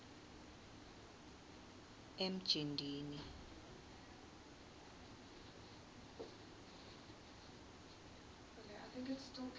emjindini